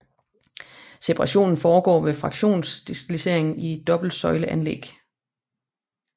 Separationen foregår ved fraktionsdestillering i et dobbelt søjle anlæg